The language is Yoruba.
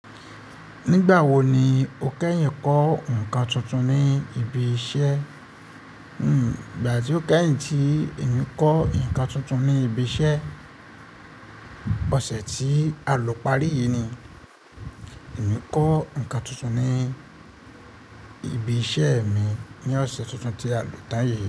Nígbà wo ni o kẹ́yìn kọ́ nǹkan tuntun ní ibi iṣẹ́? Nígbà tí o kẹ́yìn tí èmi kọ́ ǹkan tuntun ní ibi iṣẹ́, ọ̀sẹ̀ tí a lọ parí yìí ni èmi kọ́ ǹkan tuntun ní ibi iṣẹ́ mi. Ni ọ̀sẹ̀ tuntun tí a lọ tan yìí.